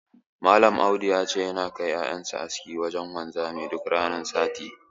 Malam Audu ya ce, yana kai ƴaƴan sa aski wajen wanzami duk ranar juma'a.